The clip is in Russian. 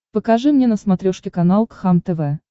покажи мне на смотрешке канал кхлм тв